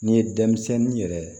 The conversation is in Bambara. N'i ye denmisɛnnin yɛrɛ